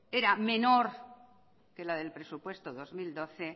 era menor que la del presupuesto dos mil doce